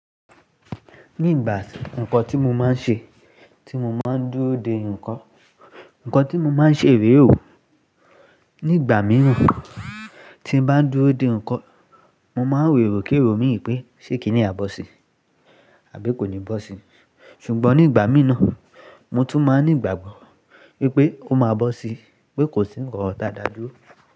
Ní ìgbà ǹkan tí mo máa ń ṣe tí mo máa ń dúró de ǹkan, ǹkan tí mo máa ń ṣe rèé o Ní ìgbà mìíràn tí mo bá ń dúró de ǹkan, mo máa ń ro èrò kérò pé ṣé kíní a bọ́ sí, àbí kò ní bọ́ sí. Ṣùgbọ́n ní ìgbà mìíràn, mo tún máa ní ìgbàgbọ́ wípé ó máa bọ́ sí, wípé kò sí nkan ti a da dúró.